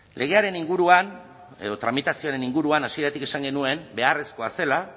legearen inguruan edo tramitazioaren inguruan hasieratik esan genuen beharrezkoa zela